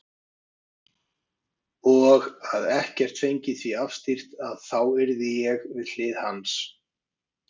Og að ekkert fengi því afstýrt að þá yrði ég við hlið hans.